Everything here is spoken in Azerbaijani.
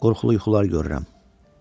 Qorxulu yuxular görürəm.